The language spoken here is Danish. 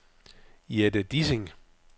Jette Dissing